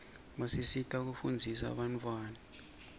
basisita kufundzisa bantawana